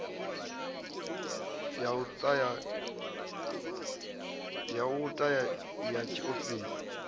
ya u ta ya tshiofisi